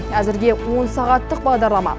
әзірге он сағаттық бағдарлама